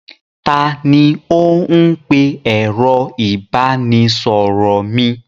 Ta ni ó ń pe ẹ̀rọ ìbanisọ̀rọ̀ mi?